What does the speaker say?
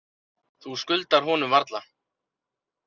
Þú skuldar honum varla.